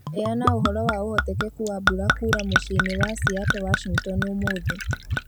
Heana ũhoro wa ũhotekeku wa mbura kũũũra mũciĩ-inĩ wa Seattle Washington ũmũthĩ